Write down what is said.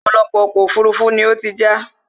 ọ̀pọ̀lọpọ̀ ọkọ̀ òfurufú ni ó ti já